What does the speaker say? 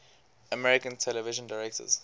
american television directors